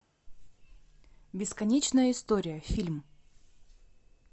бесконечная история фильм